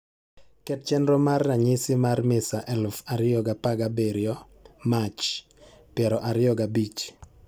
ket chenro mar ramyisi mar misa eluf ariyo ga parga birio mach piero ariyo ga bich